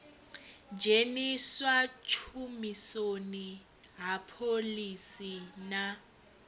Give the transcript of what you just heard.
dzheniswa tshumisoni ha phoḽisi na